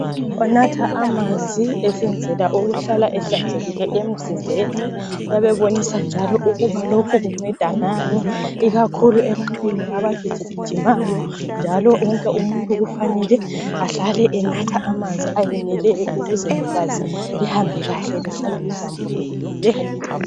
Unatha amanzi esenzela ukuhlale ehlanzekile emzimbeni uyabe ebonisa njalo ukuba lokhu kunceda ngani ikakhulu ebantwini abagijigijimayo njalo wonke umuntu kufanele ahlale enatha amanzi ayeneleyo ukuze igazi lihambe kahle lihlale lihlambulukile.